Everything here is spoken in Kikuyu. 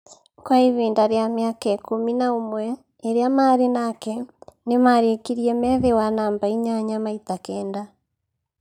Kwa ihinda rĩa mĩaka ikumi na umwe ĩrĩa maarĩ nake, nĩmarĩkirie me thĩ wa namba inyanya maita kenda